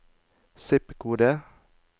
zip-kode